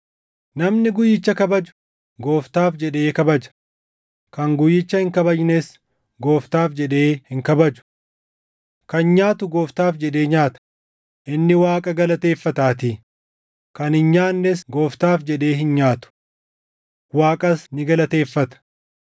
Namni guyyicha kabaju Gooftaaf jedhee kabaja; kan guyyicha hin kabajnes Gooftaaf jedhee hin kabaju. Kan nyaatu Gooftaaf jedhee nyaata; inni Waaqa galateeffataatii; kan hin nyaannes Gooftaaf jedhee hin nyaatu; Waaqas ni galateeffata.